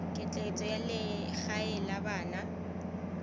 ketleetso ya legae la bana